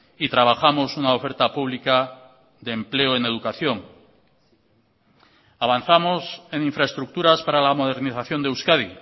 y trabajamos una oferta pública de empleo en educación avanzamos en infraestructuras para la modernización de euskadi